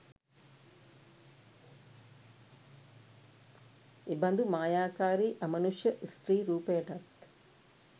එබඳු මායාකාරී අමනුෂ්‍ය ස්ත්‍රී රූපයටත්